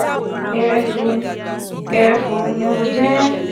gbẹrẹfụ gbẹrẹfụ ni mo jẹ ẹ́: